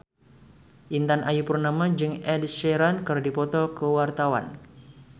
Intan Ayu Purnama jeung Ed Sheeran keur dipoto ku wartawan